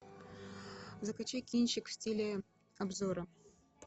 закачай кинчик в стиле обзора